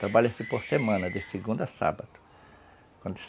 Trabalha-se por semana, de segunda à sábado.